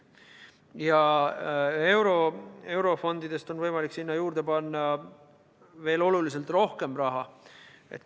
Ja eurofondidest on võimalik sinna juurde panna veel oluliselt rohkem raha.